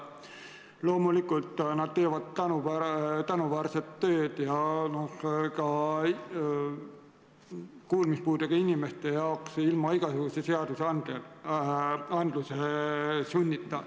Loomulikult, nad teevad tänuväärset tööd ka kuulmispuudega inimeste jaoks ilma igasuguse seaduse sunnita.